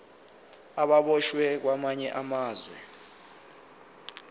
ababoshwe kwamanye amazwe